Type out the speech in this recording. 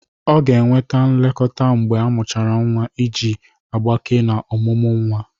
Ọ ga-enweta nlekọta mgbe ọmuchara nwa iji agbake na omụmu nwa.